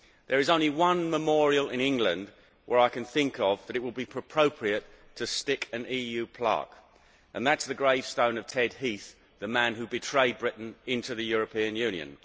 There is only one memorial in England I can think of where it would be appropriate to stick an EU plaque, and that is the gravestone of Ted Heath, the man who betrayed Britain into the European Union.